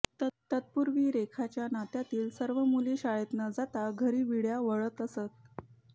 तत्पूर्वी रेखाच्या नात्यातील सर्व मुली शाळेत न जाता घरी विड्या वळत असत